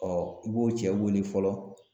i b'o cɛ wele fɔlɔ